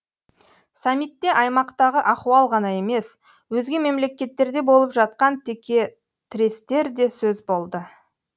саммитте аймақтағы ахуал ғана емес өзге мемлекеттерде болып жатқан текетірестер де сөз болды